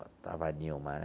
Lá estava a Nilma né.